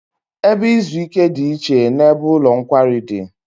Ebe izu ike dị iche n'ebe ụlọ nkwari dị